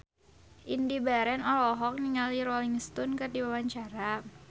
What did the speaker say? Indy Barens olohok ningali Rolling Stone keur diwawancara